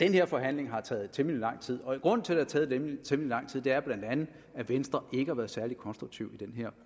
her forhandling har taget temmelig lang tid og grunden til at taget temmelig lang tid er bla at venstre ikke har været særlig konstruktiv i den her